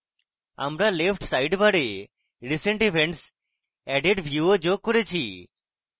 আমরা left sidebar a recent events added view যোগকরেছি